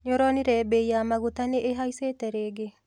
Nĩũronire mbei ya mũgate nĩihaicite rĩngĩ?